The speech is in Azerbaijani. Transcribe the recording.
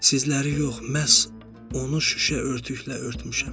Sizləri yox, məhz onu şüşə örtüklə örtmüşəm.